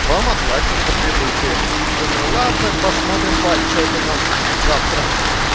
вам оплатят за прибытие думаю ладно посмотрим по отчёту на с завтра